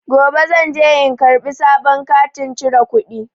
Gobe zan je in karɓi sabon katin cire kuɗi.